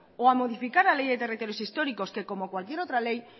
o a modificar la ley de territorios históricos que como cualquier otra ley